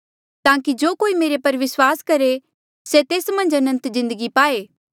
ताकि जो कोई मेरे पर विस्वास करहे से तेस मन्झ अनंत जिन्दगी पाए